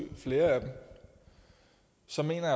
flere af dem så mener